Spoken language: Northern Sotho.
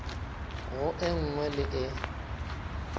go e nngwe le e